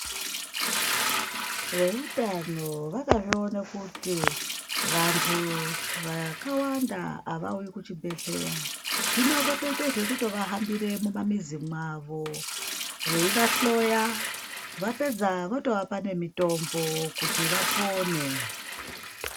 Veutano vakazvione kuti vantu vakawanda avauyi kuchibhehleya hino votoita zvekuvahambira mumamizi mwavo veivahloya vapedza votovape nemitombo kuti vapone.